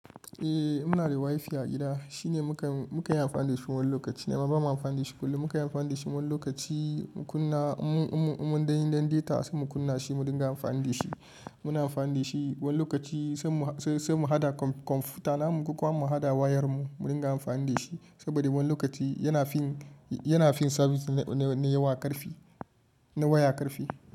Eh muna da wifi a gida shine mukan mukanyi amfani da shi wani lokaci ne ba mu amfani da shi kullum. Muka yi amfani da shi wani lokaci mu kunna in mu in mu dan data se mu kunna shi mu dinga amfani da shi. Muna amfani da shi wani lokaci sai mu haɗa kwamfutana ko kuwa mu haɗa wayar mu mu dinga amfani da shi. Saboda wani lokaci yana fin sabis na yawa karfi, na waya karfi.